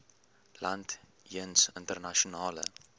land jeens internasionale